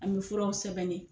An bi furaw sɛbɛnnen